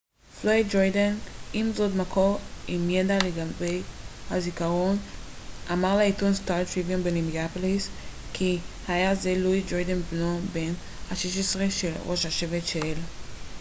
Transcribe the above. עם זאת מקור עם ידע לגבי החקירה אמר לעיתון סטאר-טריביון במיניאפוליס כי היה זה לואיס ג'ורדיין בנו בן ה-16 של ראש השבט של red lake פלויד ג'ורדיין